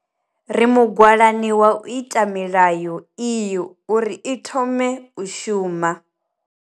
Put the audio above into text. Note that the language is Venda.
Ri mugwalani wa u ita milayo iyo uri i thome u shuma.